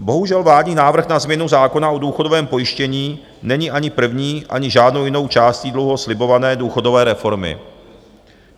Bohužel, vládní návrh na změnu zákona o důchodovém pojištění není ani první, ani žádnou jinou částí dlouho slibované důchodové reformy.